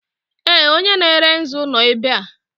Ee! Onye na-ere nzu nọ ebe a.